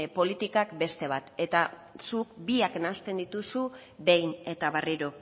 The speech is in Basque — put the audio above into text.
politikak beste bat zuk biak nahasten dituzu behin eta berriro